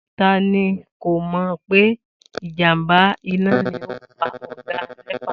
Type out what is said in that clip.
Ta ni kò mò̩ pé ìjàmbá iná ni ó pa ò̩gá Né̩pà?